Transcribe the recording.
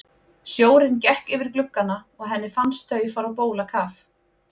Sjórinn gekk yfir gluggana og henni fannst þau fara á bólakaf.